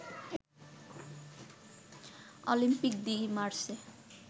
Olympic de Marseille